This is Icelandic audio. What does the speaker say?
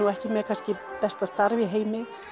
ekki með kannski besta starf í heimi